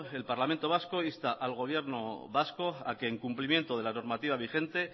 el parlamento vasco insta al gobierno vasco a que en cumplimiento de la normativa vigente